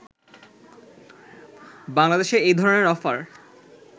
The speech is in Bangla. বাংলাদেশে এই ধরনের অফার